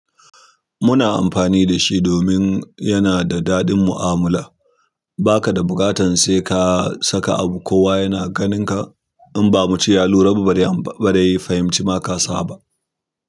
Muna amfani da shi domin yana da daɗin mu'amala. Ba ka da buƙatan sai ka saka abu kowa yana ganinka. In ba mu ce ya lura ba, ba dai ya fahimci ma ka saba.